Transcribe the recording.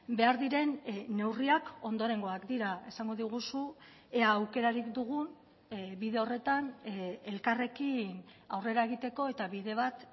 behar diren neurriak ondorengoak dira esango diguzu ea aukerarik dugun bide horretan elkarrekin aurrera egiteko eta bide bat